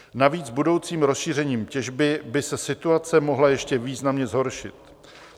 Navíc budoucím rozšířením těžby by se situace mohla ještě významně zhoršit.